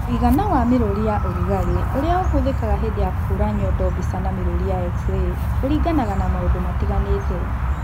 Mũigana wa mĩrũri ya ũrugarĩ ũrĩa ũhũthĩkaga hĩndĩ ya kũhũra nyondo mbica na mĩrũri ya x-ray ũringanaga na maũndũ matiganĩte